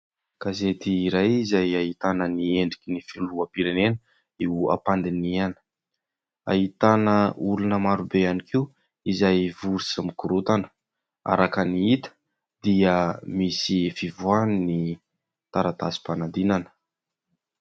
Gasety iray izay ahitana ny endriky ny filoham-pirenena eo am-pandinihana, ahitana olona marobe ihany koa izay vory sy mikorontana, araka ny hita dia misy fivoahan'ny taratasim-panadinana.